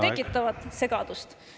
… mis tekitavad segadust.